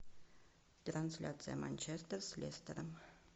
трансляция манчестер с лестером